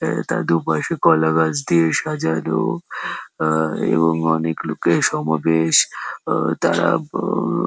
এটা দু পাশে কলা গাছ দিয়ে সাজানো আ এবং অনেক লোকের সমাবেশ আ তারা হম --